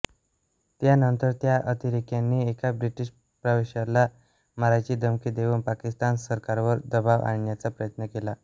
त्यानंतर त्या अतिरेक्यांनी एका ब्रिटिश प्रवाश्याला मारायची धमकी देऊन पाकिस्तान सरकारवर दबाव आणण्याचा प्रयत्न केला